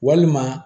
Walima